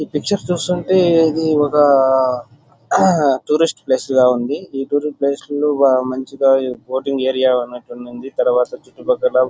ఇది పిక్చర్ చూస్తుంటే ఇది ఒక టూరిస్ట్ ప్లేస్ లా ఉంది. ఈ టూరిస్ట్ ప్లేస్ లో మంచిగా బోటింగ్ ఏరియా ఉన్నట్టు ఉండండి. తరువాత చుట్టుపక్కల --